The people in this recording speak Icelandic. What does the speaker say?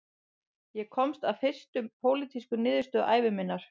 Ég komst að fyrstu pólitísku niðurstöðu ævi minnar